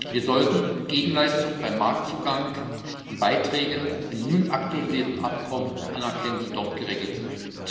Wir sollten Gegenleistungen beim Marktzugang und Beiträge im nun aktualisierten Abkommen anerkennen, die dort geregelt sind.